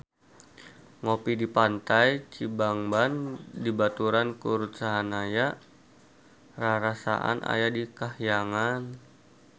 Ngopi di Pantai Cibangban dibaturan ku Ruth Sahanaya rarasaan aya di kahyangan